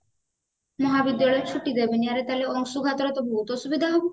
ମହାବିଦ୍ୟାଳୟରେ ଛୁଟି ଦେବେନି ଆରେ ତାହାଲେ ଅଂଶୁଘାତରେ ତ ବହୁତ ଅସୁବିଧା ହବ